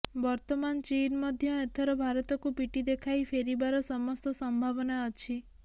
ବର୍ତ୍ତମାନ ଚୀନ୍ ମଧ୍ୟ ଏଥର ଭାରତକୁ ପିଠି ଦେଖାଇ ଫେରିବାର ସମସ୍ତ ସମ୍ଭାବନା ଅଛି